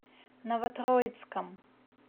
новотроицком